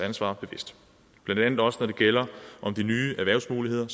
ansvar bevidst blandt andet også når det gælder de nye erhvervsmuligheder